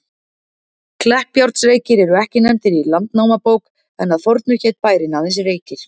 Kleppjárnsreykir eru ekki nefndir í Landnámabók, en að fornu hét bærinn aðeins Reykir.